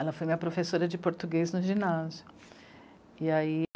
Ela foi minha professora de português no ginásio. Eai